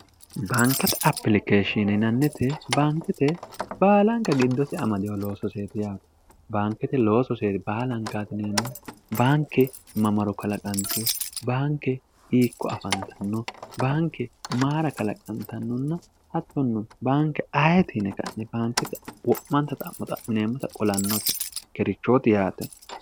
baankate apilikeeshshiininannite baankite baalanka giddosi amadiyo looso seeri yaate baankete looso seeri baalanka atineemmo baanke mamaro kalaqanteho baanke hiikko afantanno baanke maara kalaqantannonna hattonnu baanke ayetiinekanne baankite wo'manta xa'mo xa'mineemmota qolannooti gerichooti yaate